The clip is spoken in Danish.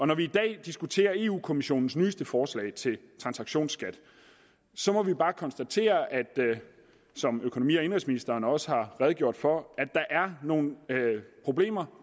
når vi i dag diskuterer europa kommissionens nyeste forslag til en transaktionsskat må vi bare konstatere som økonomi og indenrigsministeren også har redegjort for at der er nogle problemer